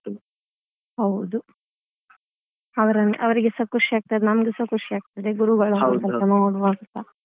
ಹೌದು ಅವರನ್~ ಅವರಿಗೆ ಸ ಖುಷಿಯಾಗ್ತದೆ ನಮಗೂ ಸಾ ಖುಷಿಯಾಗ್ತದೆ ಗುರುಗಳನ್ನು ಸ್ವಲ್ಪ ನೋಡುವಂತ ಅಲ್ಲಾ.